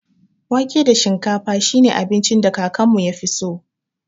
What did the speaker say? Wake da shinkafa shi ne abincin da kakanmu ya fi so.